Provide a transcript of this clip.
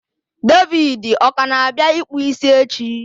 David ọ ka na-abịa ịkpụ isi echi?